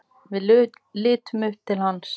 Við litum upp til hans.